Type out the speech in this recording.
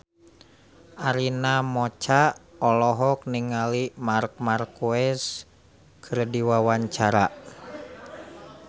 Arina Mocca olohok ningali Marc Marquez keur diwawancara